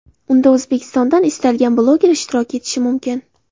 Unda O‘zbekistondan istalgan bloger ishtirok etishi mumkin.